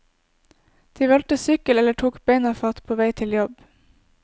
De valgte sykkel eller tok bena fatt på vei til jobb.